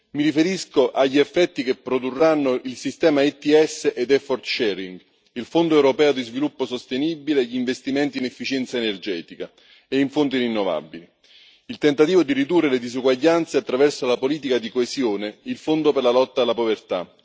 Mi riferisco agli effetti che produrranno il sistema ETS e la condivisione degli sforzi, il Fondo europeo per lo sviluppo sostenibile e gli investimenti in efficienza energetica e in fonti rinnovabili, il tentativo di ridurre le disuguaglianze attraverso la politica di coesione, il Fondo per la lotta alla povertà.